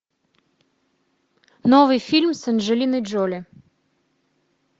новый фильм с анджелиной джоли